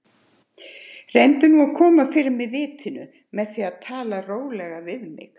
Reyna þá að koma fyrir mig vitinu með því að tala rólega við mig.